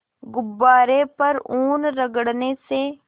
गुब्बारे पर ऊन रगड़ने से